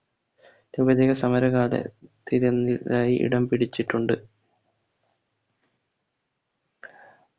ഉപചക സമരഖാധത്തിലെന്നിലായി ഇടം പിടിച്ചിട്ടുണ്ട്